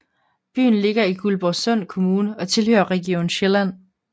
Byen ligger i Guldborgsund Kommune og tilhører Region Sjælland